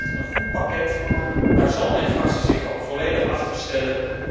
Er ligt een goed pakket, en daar zal mijn fractie zich ook volledig achter stellen.